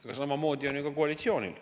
Aga samamoodi on ju ka koalitsioonil.